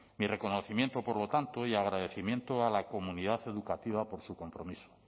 mi reconocimiento por lo tanto y agradecimiento a la comunidad educativa por su compromiso